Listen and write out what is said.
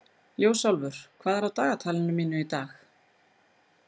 Ljósálfur, hvað er á dagatalinu mínu í dag?